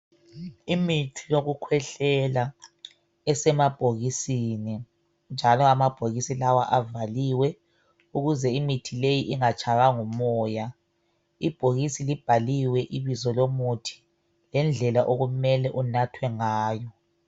Imithi yokukhwehlela esemabhokisini njalo amabhokisi lawa avaliwe ukuze imithi leyi ingatshaywangumoya , ibhokisi libhaliwe ibizo lomuthi langendlela okumele unathwe ngayo